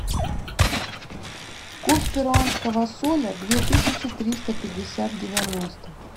курс перуанского соля две тысячи триста пятьдесят девяносто